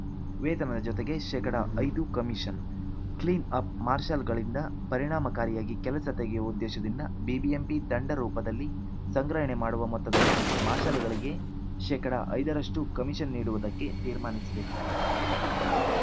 ವೇತನದ ಜೊತೆಗೆ ಶೇಕಡಾ ಐದು ಕಮಿಷನ್‌ ಕ್ಲೀನ್‌ ಅಪ್‌ ಮಾರ್ಷಲ್‌ಗಳಿಂದ ಪರಿಣಾಮಕಾರಿಯಾಗಿ ಕೆಲಸ ತೆಗೆಯುವ ಉದ್ದೇಶದಿಂದ ಬಿಬಿಎಂಪಿ ದಂಡ ರೂಪದಲ್ಲಿ ಸಂಗ್ರಹಣೆ ಮಾಡುವ ಮೊತ್ತದಲ್ಲಿ ಮಾರ್ಷಲ್‌ಗಳಿಗೆ ಶೇಕಡಾ ಐದರಷ್ಟುಕಮಿಷನ್‌ ನೀಡುವುದಕ್ಕೆ ತೀರ್ಮಾನಿಸಿದೆ